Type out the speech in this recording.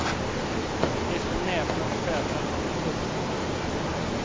De är så näpna och söta att man vill pussa dem.